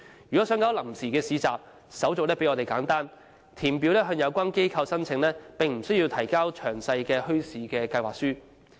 如果想辦臨時市集，手續比我們簡單，只需填表向有關機構申請，而不需要提交詳細的墟市計劃書。